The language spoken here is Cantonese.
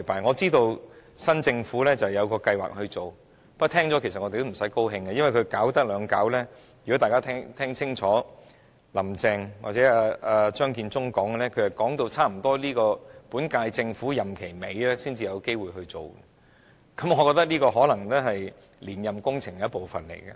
我知道新政府有計劃檢討，不過我們聽到也不要感到高興，因為檢討需時，如果大家聽清楚"林鄭"或張建宗的談話，便知道是差不多要到本屆政府任期末段才有機會實行，我覺得這可能是連任工程的一部分工作。